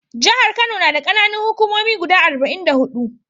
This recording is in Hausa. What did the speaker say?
Jahar Kano na da ƙananan hukumomi guda arba'in da huɗu.